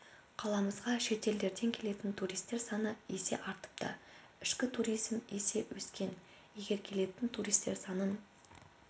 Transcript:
қаламызға шетелдерден келетін туристер саны есе артыпты ішкі туризм есе өскен егер келетін туристер санын